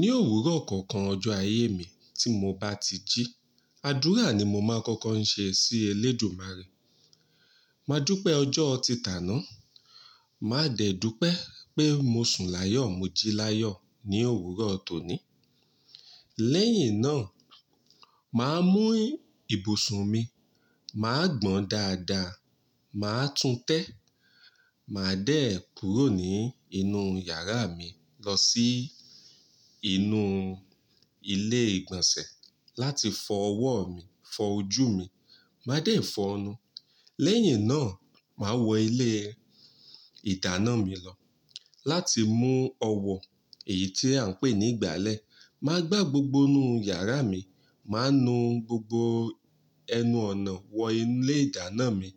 Ní òwúrọ̀ kankan ọjọ́ ayé mi tí mo bá ti jí, àdúrà ni mo máa n kọ́kọ́ ń ṣe sí Elédumare. Máa dúpẹ́ ọjọ́ títà náà, màá dẹ̀ dúpẹ́ pé mo sùn láyọ̀ mo jí láyọ̀ ní òwúrọ̀ tòní. Lẹ́yìn náà, màá mú ibùsùn mi, màá gbọn dáadáa, màá tún tẹ́. Màá dẹ̀ kúrò nínú yàrá mi lọ sí inú ilé ìgbọ̀nsẹ̀ láti fọ ọwọ́ mi, fọ ojú mi, màá dẹ̀ fọ̀nu. Lẹ́yìn náà, màá wọ ilé ìdáná mi lọ láti mú ọwọ́ èyí tí à ń pè ní ìgbálẹ̀. Màá gbá gbogbo inú yàrá mi, màá nu gbogbo ẹnu ọ̀nà wọ inú ilé ìdáná mi,